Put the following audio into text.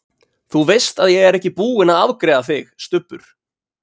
ÞÚ VEIST AÐ ÉG ER EKKI BÚINN AÐ AFGREIÐA ÞIG, STUBBUR!